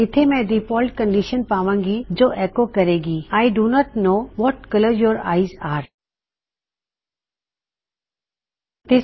ਇਥੇ ਮੈਂ default condition ਪਾਵਾਂ ਗੀ ਜੋ ਐੱਕੋ ਕਰੇ ਗੀ I don't now what colour your eyes ਅਰੇ ਮੈਨੂੰ ਨਹੀ ਪਤਾ ਤੁਹਾਡੀ ਅਖਾਂ ਕਿਸ ਰੰਗ ਦੀਆਂ ਨੇ